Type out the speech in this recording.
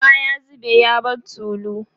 ruwa ya zube ya bar tulu